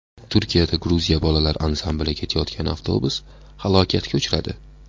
Turkiyada Gruziya bolalar ansambli ketayotgan avtobus halokatga uchradi.